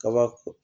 Kaba